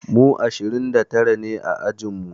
Mu ashirin da tara ne a ajin mu.